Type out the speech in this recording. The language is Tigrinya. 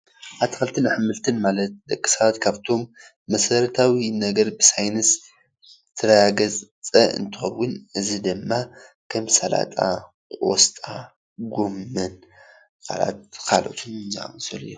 ኣትክልንትን ኣሕምልትን ማለት ደቂ ሰባተ ካብቶም መሰረታዊ ነገር ብሳይነስ ዝተረጋገፀ እንትኸዉን እዚ ድማ ከም ሳላጣ፣ ቆስጣ፣ ጎመን ካላኦት ካልኦትን ዝኣመሰሉ እዮም፡፡